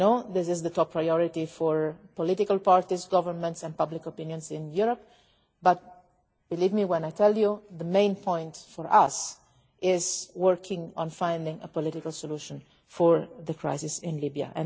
I know this is the top priority for political parties, governments and public opinion in Europe, but believe me when I tell you that the main point for us is working on finding a political solution to the crisis in